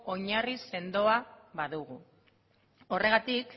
oinarri sendoa badugu horregatik